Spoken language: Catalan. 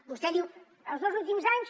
vostè diu els dos últims anys